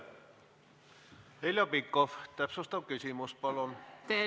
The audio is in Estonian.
Heljo Pikhof, täpsustav küsimus palun!